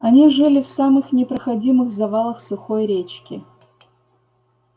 они жили в самых непроходимых завалах сухой речки